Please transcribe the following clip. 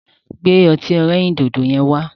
Gbẹ́ ọtí ẹlẹ́rìndòdò yẹn wá.